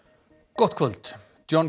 gott kvöld John